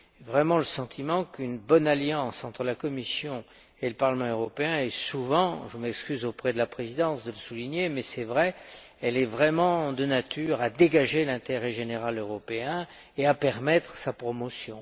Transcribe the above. vraiment le sentiment qu'une bonne alliance entre la Commission et le Parlement européen est souvent je m'excuse, auprès de la présidence, de le souligner, mais c'est vrai de nature à dégager l'intérêt général européen et à permettre sa promotion.